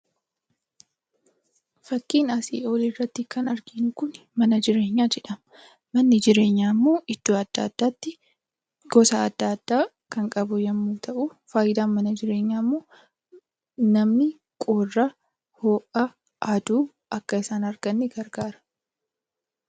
Fakkii oliirratti kan arginu kun mana jireenyaa jedhama. Manni jireenyaammoo iddoo adda addaatti gosa adda addaa kan qabu yommuu ta'u, fayidaan mana jireenyaammoo namni qorra, ho'a, aduu akka isaan dhorkaniifi.